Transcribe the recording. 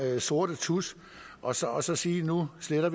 sorte tusch og så så sige at nu sletter